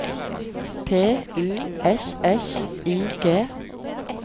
P U S S I G